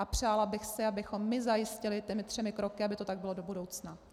A přála bych si, abychom my zajistili těmi třemi kroky, aby to tak bylo do budoucna.